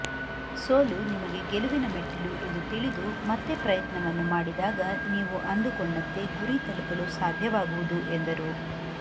ಸೋಲು ನಿಮಗೆ ಗೆಲುವಿನ ಮೆಟ್ಟಿಲು ಎಂದು ತಿಳಿದು ಮತ್ತೆ ಪ್ರಯತ್ನವನ್ನು ಮಾಡಿದಾಗ ನೀವು ಅಂದುಕೊಂಡಂತೆ ಗುರಿ ತಲುಪಲು ಸಾಧ್ಯವಾಗುವುದು ಎಂದರು